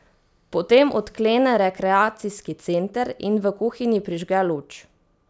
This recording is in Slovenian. Potem odklene rekreacijski center in v kuhinji prižge luč.